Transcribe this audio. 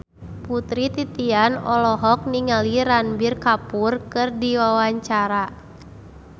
Putri Titian olohok ningali Ranbir Kapoor keur diwawancara